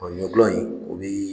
ɲɔgulɔ in o bɛ